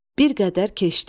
Bir qədər keçdi.